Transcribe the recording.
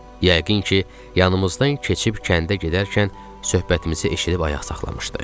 Yəqin ki, yanımızdan keçib kəndə gedərkən söhbətimizi eşidib ayaq saxlamışdı.